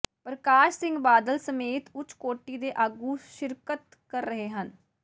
ਪਰਕਾਸ਼ ਸਿੰਘ ਬਾਦਲ ਸਮੇਤ ਉਚ ਕੋਟੀ ਦੇ ਆਗੂ ਸ਼ਿਰਕਤ ਕਰ ਰਹੇ ਹਨ